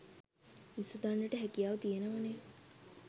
විසඳන්නට හැකියාව තියෙනවනේ